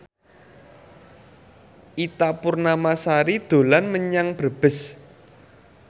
Ita Purnamasari dolan menyang Brebes